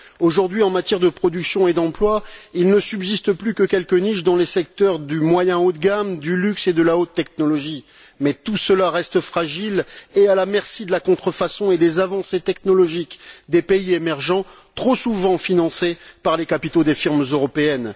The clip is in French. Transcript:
Aujourd'hui, en matière de production et d'emploi, il ne subsiste plus que quelques niches dans les secteurs du moyen haut de gamme, du luxe et de la haute technologie. Mais tout cela reste fragile et à la merci de la contrefaçon et des avancées technologiques des pays émergents, trop souvent financées par les capitaux des firmes européennes.